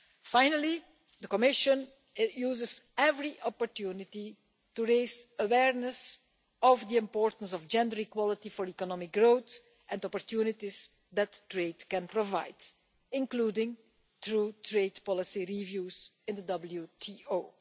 Finally, the Commission uses every opportunity to raise awareness of the importance of gender equality for economic growth and the opportunities that trade can provide, including through trade policy reviews in the